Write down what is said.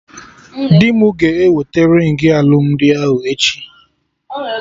Dị mụ ga eweta ringị alụmdi ahụ echi